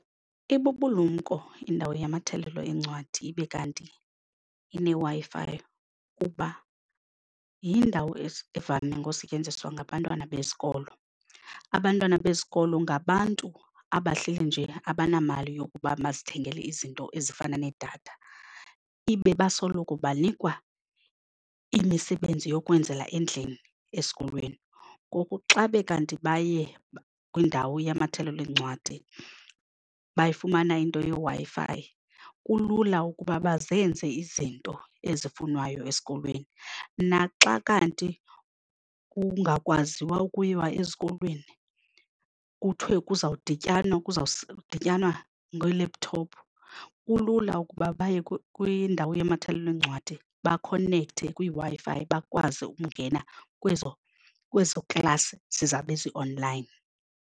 Ibubulumko indawo yamathelelo eencwadi ibe kanti ineWi-Fi kuba yindawo evame ngosetyenziswa ngabantwana besikolo. Abantwana bezikolo ngabantu abahleli nje abanamali yokuba bazithengele izinto ezifana nedatha ibe basoloko banikwa imisebenzi yokwenzela endlini esikolweni. Ngoku xa be kanti baye kwindawo yamathelo eencwadi bayifumana into yeWi-Fi kulula ukuba bazenze izinto ezifunwayo esikolweni. Naxa kanti kungakwaziwa ukuyiwa ezikolweni kuthiwe kuzawudityanwa kuzawudityanwa ngee-laptop kulula ukuba baye kwindawo yamathelelo eencwadi bakonekthe kwiWi-Fi bakwazi ukungena kwezo kwezo class zizawube zi-online.